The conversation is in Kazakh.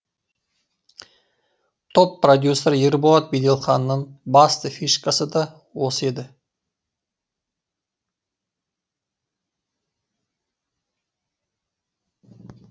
топ продюсері ерболат беделханның басты фишкасы да осы еді